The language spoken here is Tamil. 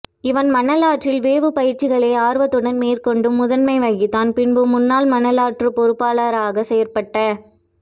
இவன் மணாலற்றில் வேவுப் பயிற்ச்சிகளை ஆர்வத்துடன் மேற்க்கொண்டு முதன்மை வகித்தான் பின்பு முன்னாள் மணலாற்று பொறுப்பாளராக செயற்பட்ட